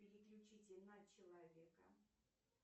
переключите на человека